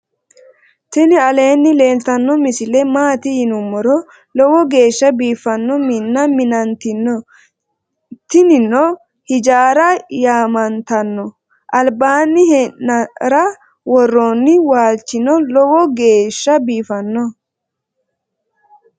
tini aleni leltano misile maati yinumoro .lowo gesha bifano mina minantino. timinano ijarate yamantano albanni e'nara woroni woalchino loowo gesha bifano.